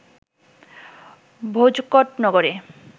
ভোজকট নগরে